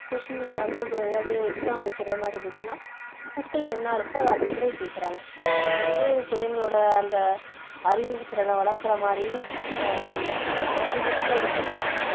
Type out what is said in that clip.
question எதாவது exam வைக்குற மாதிரி இருந்துச்சுன்னா book ல என்ன இருக்கோ அதை அப்படியே கேக்குறாங்க அது வந்து பிள்ளைங்களோட அந்த அறிவுத்திறனை வளர்க்குற மாதிரி இல்ல இப்போ வந்து book ல இருந்துச்சுன்னா